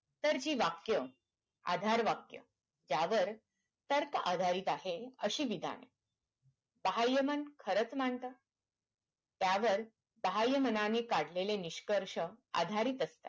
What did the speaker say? तर ती वाक्य आधार वाक्य त्यावर तर्क आधारित आहेत आधी विधाने बाह्यमन खरंच मानत त्यावर बाह्यमनाने काढलेले निष्कर्ष अंधारी असतात